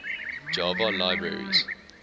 java libraries